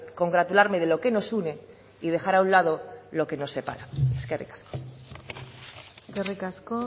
congratularme de lo que nos une y dejar a un lado lo que nos separa eskerrik asko eskerrik asko